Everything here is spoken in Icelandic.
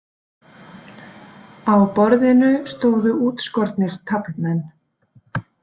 Á borðinu stóðu útskornir taflmenn.